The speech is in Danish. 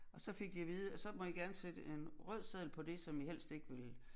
Og så fik de at vide at så må I gerne sætte en rød seddel på det som i helst ikke vil